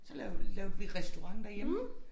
Så lavede lavede vi restaurant derhjemme